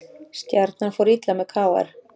Stjarnan fór illa með KR